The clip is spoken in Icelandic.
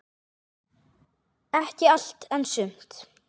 Ekki allt, en sumt.